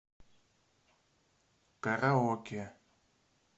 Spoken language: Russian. караоке